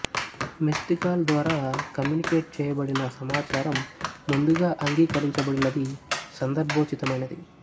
missed call ద్వారా communicate చేయబడిన సమాచారం ముందుగా అంగీకరించబడినది సందర్భోచితమైనది